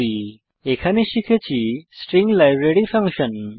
এই টিউটোরিয়ালে আমরা শিখেছি স্ট্রিং লাইব্রেরী ফাংশন